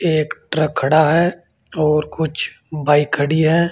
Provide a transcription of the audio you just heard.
ये एक ट्रक खड़ा है और कुछ बाइक खड़ी हैं।